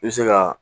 I bɛ se ka